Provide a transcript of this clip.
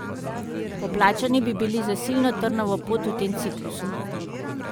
Poplačani bi bili za silno trnovo pot v tem ciklusu.